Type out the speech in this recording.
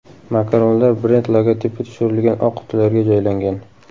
Makaronlar brend logotipi tushirilgan oq qutilarga joylangan.